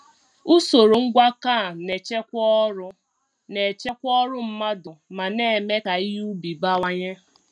Usoro ngwakọ a na-echekwa ọrụ na-echekwa ọrụ mmadụ ma na-eme ka ihe ubi bawanye.